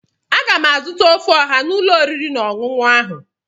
Aga m azụta ofe ọha n'ụlọ oriri na ọṅụṅụ ahụ.